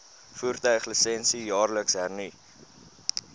voertuiglisensie jaarliks hernu